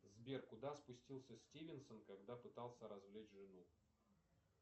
сбер куда спустился стивенсон когда пытался развлечь жену